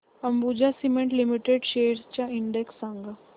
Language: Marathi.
अंबुजा सीमेंट लिमिटेड शेअर्स चा इंडेक्स सांगा